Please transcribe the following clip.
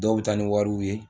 Dɔw bɛ taa ni wariw ye